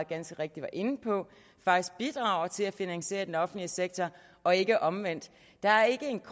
ganske rigtigt var inde på faktisk bidrager til at finansiere den offentlige sektor og ikke omvendt der er ikke en